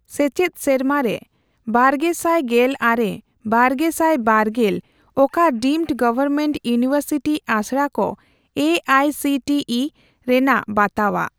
ᱥᱮᱪᱮᱫ ᱥᱮᱨᱢᱟᱨᱮ ᱵᱟᱨᱜᱮᱥᱟᱭ ᱜᱮᱞ ᱟᱨᱮ - ᱵᱟᱨᱜᱮᱥᱟᱭ ᱵᱟᱨᱜᱮᱞ ᱚᱠᱟ ᱰᱤᱢᱰ ᱜᱚᱣᱚᱨᱢᱮᱱᱴ ᱤᱭᱩᱱᱤᱣᱮᱨᱥᱤᱴᱤ ᱟᱥᱲᱟ ᱠᱚ A I C T E ᱨᱮᱱᱟᱜ ᱵᱟᱛᱟᱣᱟᱜ ?